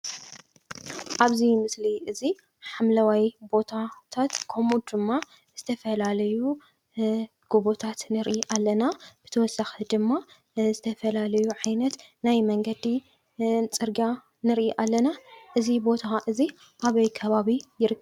ኣብዚ ምስሊ እዚ ሓምለዋይ ቦታታት ከምኡ ድማ ዝተፈላለዩ ጎቦታት ንርኢ አለና፡፡ ብተወሳኪ ድማ ዝተፈላለዩ ዓይነት ናይ መንገዲ ፅርግያ ንርኢ ኣለና፡፡ እዚ ቦታ እዚ ኣበይ ከባቢ ይርከብ?